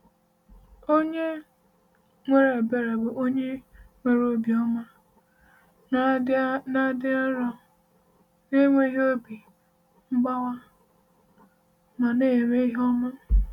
Onye nwere ebere bụ onye nwere obiọma, na-adị nro, na-enwe obi mgbawa, ma na-eme ihe ọma.